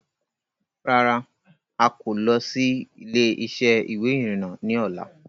Rárá Áà kò lọ̀ síí ilé-isẹ́ ìwé ìrìnà ni ọ̀la.